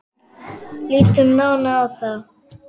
Lítum nánar á það.